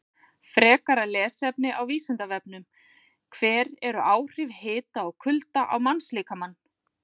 Frekara lesefni á Vísindavefnum: Hver eru áhrif hita og kulda á mannslíkamann?